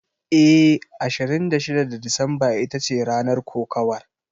Eh, Ashirin da shida ga Disamba ita ce ranar kokawar.